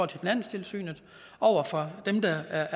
til finanstilsynet over for dem der er